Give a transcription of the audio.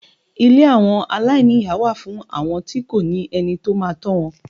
Ilé àwọn aláìníyà wà fún àwọn tí kò ní ẹni tó máa tọ́ wọn.